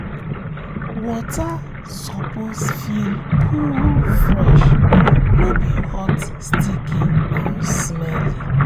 water suppose feel cool fresh - no be hot sticky or smelly